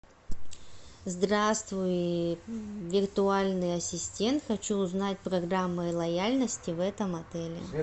здравствуй виртуальный ассистент хочу узнать программы лояльности в этом отеле